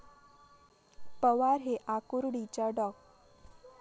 पवार हे आकुर्डीच्या डॉ.